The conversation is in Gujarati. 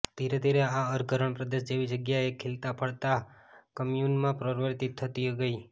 ધીરે ધીરે આ અર્ધ રણપ્રદેશ જેવી જગ્યા એક ખીલતા ફળતા કમ્યૂનમાં પરિવર્તિત થતી ગઈ